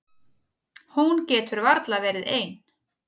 Hún getur varla verið ein.